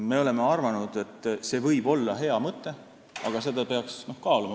Me leiame, et see võib olla hea mõte, aga seda peaks veel kaaluma.